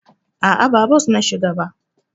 A'a, ba bos na shiga ba.